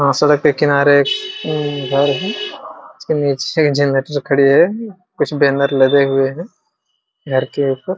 अ सड़क के किनारे उम्म घर है उसके नीचे खड़ी है कुछ बैनर लगे हुए है घर के ऊपर।